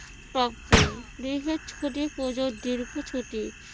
ছুটি পূজোর দীর্ঘ ছুটি।